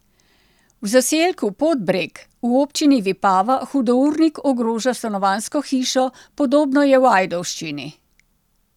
V zaselku Podbreg v občini Vipava hudournik ogroža stanovanjsko hišo, podobno je v Ajdovščini.